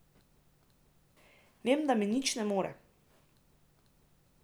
Vem, da mi nič ne more.